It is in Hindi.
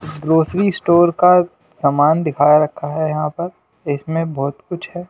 ग्रोसरी स्टोर का सामान दिखाया रखा है यहां पर इसमें बहुत कुछ है।